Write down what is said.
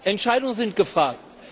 Entscheidungen sind gefragt.